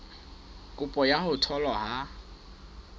kopo ya ho tholwa ha